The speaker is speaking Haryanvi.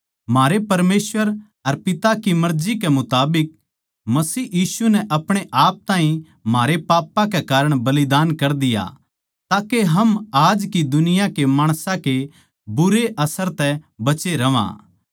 म्हारे परमेसवर अर पिता की मर्जी के मुताबिक मसीह यीशु नै आपणेआप ताहीं म्हारे पापां के कारण बलिदान कर दिया ताके हम आज की दुनिया के माणसां के बुरे असर तै बचे रहवां